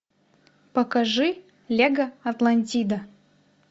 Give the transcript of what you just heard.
покажи лего атлантида